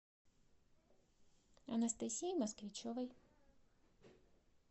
анастасии москвичевой